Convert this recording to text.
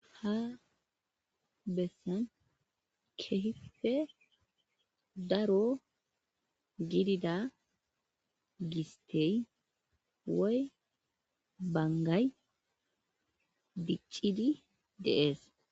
Ha bessan kehife daro gidida gistey woy bangay biccidi deees.